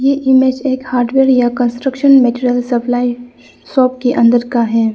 ये इमेज एक हार्डवेयर या कंस्ट्रक्शन मैटेरियल सप्लाई शॉप के अंदर का है।